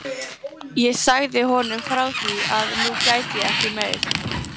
Ég sagði honum frá því að nú gæti ég ekki meir.